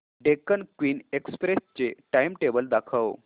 Deccan queen express चे timetable दाखव